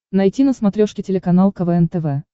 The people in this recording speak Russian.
найти на смотрешке телеканал квн тв